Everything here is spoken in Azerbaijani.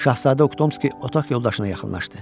Şahzadə Oxtomski otaq yoldaşına yaxınlaşdı.